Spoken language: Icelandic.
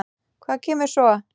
Hvað kemur svo?